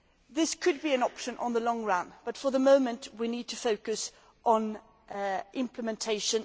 This could be an option in the long run, but for the moment we need to focus on implementation.